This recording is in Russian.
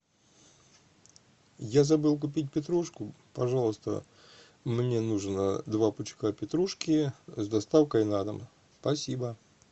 я забыл купить петрушку пожалуйста мне нужно два пучка петрушки с доставкой на дом спасибо